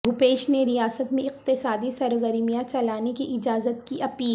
بھوپیش نے ریاست میں اقتصادی سرگرمیاں چلانے کی اجازت کی اپیل